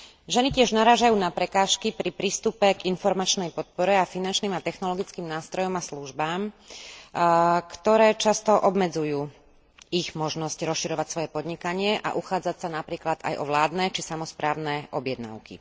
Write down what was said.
Ženy tiež narážajú na prekážky pri prístupe k informačnej podpore a finančným a technologickým nástrojom a službám, ktoré často obmedzujú ich možnosti rozširovať svoje podnikanie a uchádzať sa napríklad aj o vládne, či samosprávne objednávky.